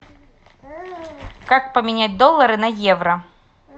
как поменять доллары на евро